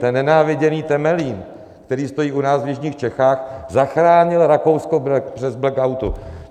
Ten nenáviděný Temelín, který stojí u nás v jižních Čechách, zachránil Rakousko při blackoutu.